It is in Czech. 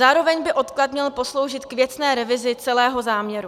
Zároveň by odklad měl posloužit k věcné revizi celého záměru.